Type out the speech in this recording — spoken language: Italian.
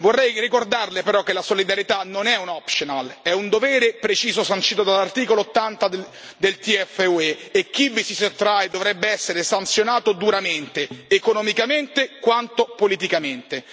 Vorrei ricordarle però che la solidarietà, non è un optional bensì è un dovere preciso sancito dall'articolo 80 del TFUE e chi vi si sottrae dovrebbe essere sanzionato duramente, economicamente quanto politicamente.